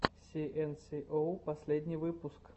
си эн си оу последний выпуск